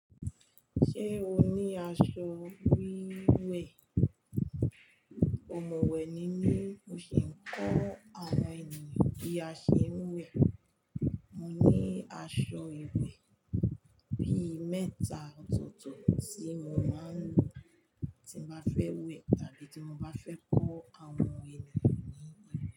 Ṣé o ní aṣọ wíwẹ̀? Òmọ̀wẹ̀ ni mí, mo sì ń kọ́ àwọn ènìyàn bí a ṣe ń wẹ̀. Mo ní aṣọ ìwẹ̀ bí i mẹ́ta ọ̀tọ̀ọ̀tọ̀ tí mo máa ń lò tí mo bá fẹ́ wẹ̀ tàbí tí mo bá fẹ́ kọ́ àwọn ènìyàn ní íwẹ̀